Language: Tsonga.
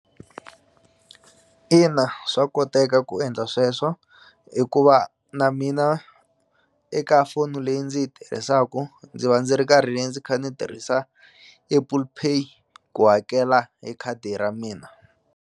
Ina swa koteka ku endla sweswo hikuva na mina eka foni leyi ndzi yi tirhisaku ndzi va ndzi ri karhi ndzi kha ndzi tirhisa Apple Pay ku hakela hi khadi ra mina.